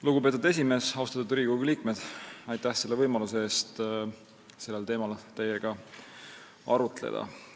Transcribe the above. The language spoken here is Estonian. Lugupeetud esimees, austatud Riigikogu liikmed, aitäh selle võimaluse eest teiega sellel teemal arutleda!